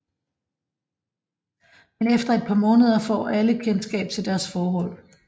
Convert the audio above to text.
Men efter et par måneder får alle kendskab til deres forhold